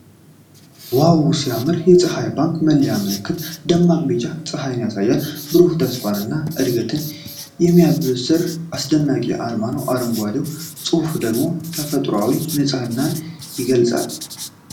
ዋው፣ ሲያምር! የፀሐይ ባንክ መለያ ምልክት ደማቅ ቢጫ ጸሐይን ያሳያል። የብሩህ ተስፋና እድገትን የሚያበስር አስደናቂ አርማ ነው። አረንጓዴው ጽሑፍ ደግሞ ተፈጥሯዊ ንጽህናን ይገልጻል።